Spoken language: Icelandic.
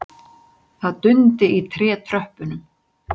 Það dundi í trétröppunum.